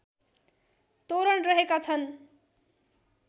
तोरण रहेका छन्